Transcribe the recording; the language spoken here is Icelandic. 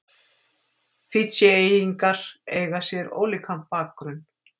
Fídjeyingar eiga sér ólíkan bakgrunn.